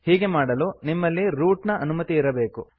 ಹೀಗೆ ಮಾಡಲು ನಿಮ್ಮಲ್ಲಿ ರೂಟ್ ನ ಅನುಮತಿ ಇರಬೇಕು